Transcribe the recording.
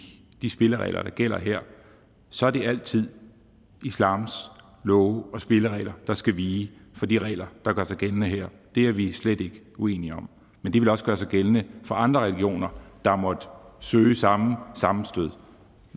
i de spilleregler der gælder her så er det altid islams love og spilleregler der skal vige for de regler der gør sig gældende her det er vi slet ikke uenige om men det vil også gøre sig gældende for andre religioner der måtte søge samme sammenstød